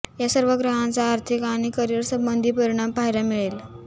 या सर्व ग्रहांचा आर्थिक आणि करियर संबंधी परिणाम पाहायला मिळेल